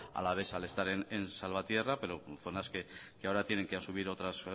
alavesa al estar en salvatierra pero zonas que ahora tienen que asumir otras